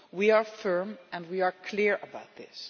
We are firm and we are clear about this.